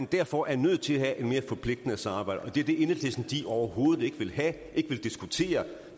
derfor nødt til at have et mere forpligtende samarbejde og det er det enhedslisten overhovedet ikke vil have ikke vil diskutere